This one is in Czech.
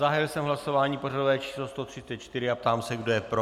Zahájil jsem hlasování pořadové číslo 134 a ptám se, kdo je pro.